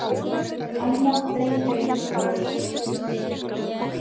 Annað drengjalegt bros.